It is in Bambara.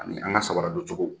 A ni an ka samara doncogow